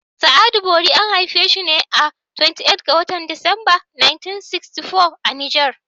Sa'adu Bori an haifi shi ne a 28 ga watan Disamber 1964 a Niger.